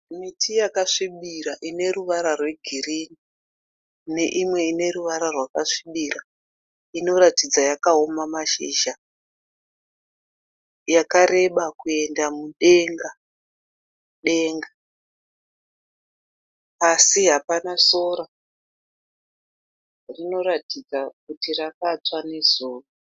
Miti yakasvibira ineruvara rwegirini neimwe ine ruvara rwakasvibira inoratidza yakaoma mashizha, yakareba kuenda mudenga denga. Pasi hapana sora rinoratidza kuti rakatsva nezuva.